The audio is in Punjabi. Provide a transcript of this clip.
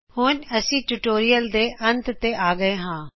ਇਸੇ ਨਾਲ ਅਸੀਂ ਇਹ ਟਯੂਟੋਰਿਅਲ ਨੂੰ ਖ਼ਤਮ ਕਰਨ ਜਾ ਰਹੇ ਹਾਂ